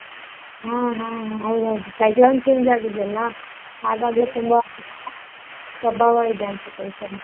ಹಾ ಹಾ ಹಾ ಹೌದ್ ಹೌದು change ಆಗಿದೆ ಅಲ್ಲ, ಹಾಗಾಗಿ ತುಂಬಾ ಪ್ರಭಾವ ಇದೆ ಅನ್ಸುತ್ತೆ ಈ ಸಲಿ.